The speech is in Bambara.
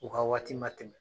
U ka waati ma tɛmɛ.